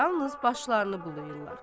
Yalnız başlarını bulayırlar.